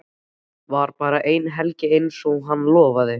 Var bara eina helgi einsog hann lofaði.